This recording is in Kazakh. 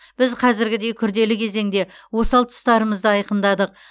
біз қазіргідей күрделі кезеңде осал тұстарымызды айқындадық